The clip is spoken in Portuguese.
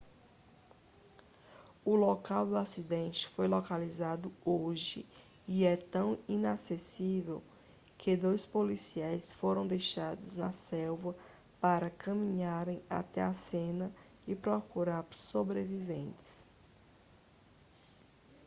o local do acidente foi localizado hoje e é tão inacessível que dois policiais foram deixados na selva para caminharem até a cena e procurar sobreviventes